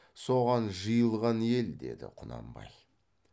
соған жиылған ел деді құнанбай